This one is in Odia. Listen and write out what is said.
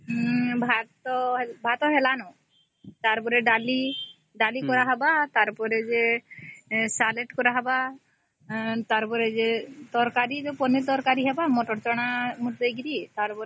ହୁଁ ଭାତ .ଡାଲି ଆଉ ସାଲାଡ଼ ହେବ ଆଉ ପନିର ତରକାରୀ ଆଉ କଣ ଚଣା ମସଲା ହେବ